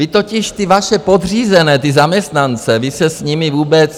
Vy totiž ty vaše podřízené, ty zaměstnance, vy se s nimi vůbec...